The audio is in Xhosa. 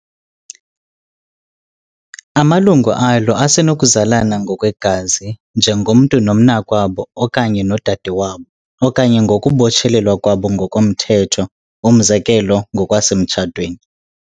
Amalungu alo asenokuzalana ngokwegazi, njengomntu nomnakwabo okanye nodade wabo, okanye ngokubotshelelwa kwabo ngokomthetho, umzekelo ngokwasemtshatweni.